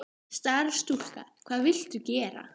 Starfsstúlka: Hvað viltu gera?